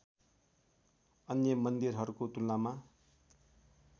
अन्य मन्दिरहरूको तुलनामा